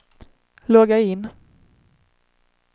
logga in